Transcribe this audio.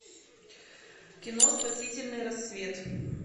кино спасительный рассвет